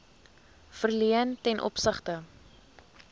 verleen ten opsigte